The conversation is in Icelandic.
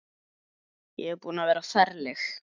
Ég er búin að vera ferleg.